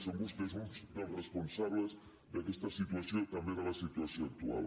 són vostès uns dels responsables d’aquesta situació també de la situació actual